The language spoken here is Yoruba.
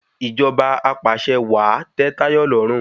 Ìjọba apàṣẹwàá tẹ Táyọ̀ lọ́rùn